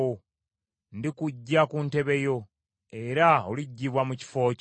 Ndikuggya ku ntebe yo, era oliggyibwa mu kifo kyo.